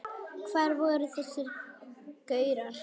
Hvar voru þessir gaurar?